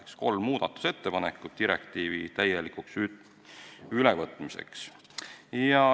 Need kolm muudatusettepanekut on vajalikud direktiivi täielikuks ülevõtmiseks.